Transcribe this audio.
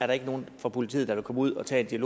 der er nogen fra politiet der kan komme ud og tage en